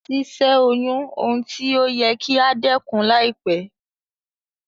Si sẹ́ oyún oun ti o yẹ kí a dẹ́kun láìpẹ́